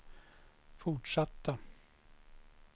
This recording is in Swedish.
fortsatta